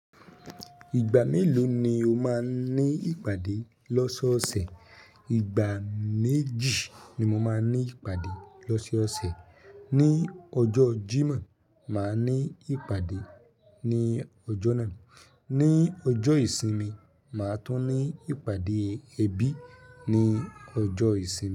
Ìgbà mélòó ni o máa ní ìpàdé lọ́sọ́ ọ̀sẹ̀? Ìgbà méjì ni mo máa ní ìpàdé lọ́sọ́ ọ̀sẹ̀. Ni ọjọ́ Jímọ̀, màá ní ìpàdé ní ọjọ́ náà ni ọjọ́ ìsinmi, màá tún ní ìpàdé ẹbí ní ọjọ́ ìsinmi.